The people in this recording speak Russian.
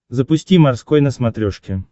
запусти морской на смотрешке